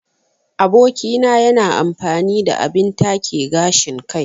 Aboki na yana amfani da abin take gashin kai.